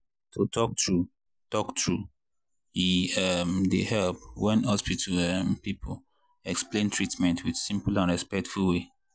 to talk true talk true e um dey help when hospital um people explain treatment with simple and respectful way.